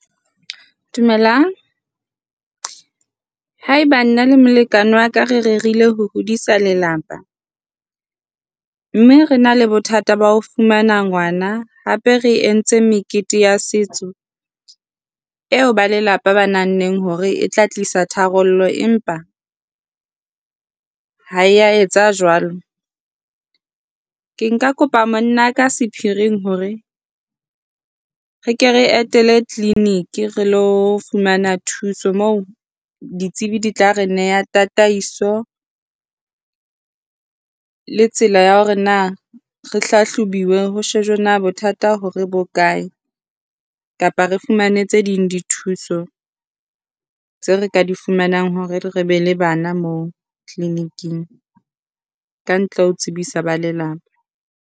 Dumelang, haeba nna le molekane wa ka re rerile ho hodisa lelapa, mme re na le bothata ba o fumana ngwana, hape re e ntse mekete ya setso eo ba lelapa ba nahanneng hore e tla tlisa tharollo empa ha e a etsa jwalo. Ke ka kopa mona ka sephiring hore re ke re etele clinic re ilo fumana thuso moo ditsebi di tla re neha tataiso le tsela ya hore na re hlahlobuwe ho shejwe na bothata hore bokae kapa re fumane tse ding dithuso tseo re ka di fumanang hore re be le bana moo clinic-ng. Ka ntle le ho tsebisa ba lelapa.